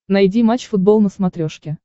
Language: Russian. найди матч футбол на смотрешке